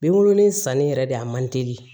Binkurunin sanni yɛrɛ de a man teli